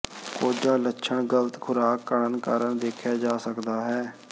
ਕੋਝਾ ਲੱਛਣ ਗ਼ਲਤ ਖੁਰਾਕ ਘੜਨ ਕਾਰਨ ਦੇਖਿਆ ਜਾ ਸਕਦਾ ਹੈ